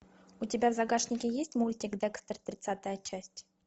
у тебя в загашнике есть мультик декстер тридцатая часть